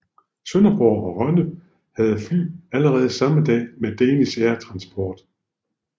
Sønderborg og Rønne havde fly allerede samme dag med Danish Air Transport